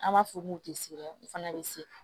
An b'a fɔ k'u tɛ sirɛ u fana bɛ se